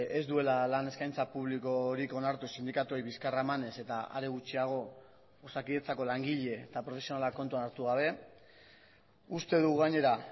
ez duela lan eskaintza publikorik onartu sindikatuei bizkarra emanez eta are gutxiago osakidetzako langile eta profesionalak kontuan hartu gabe uste dugu gainera